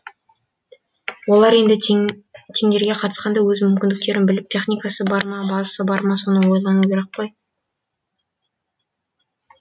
олар енді тендерге қатысқанда өз мүмкіндіктерін біліп техникасы бар ма базасы бар ма соны ойлану керек қой